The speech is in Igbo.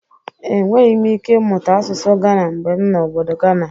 Enweghi m ike mụta asụsụ gana mgbe m nọ obodo gana.